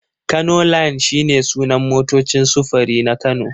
Kano line shi ne sunan motocin sufuri na Kano.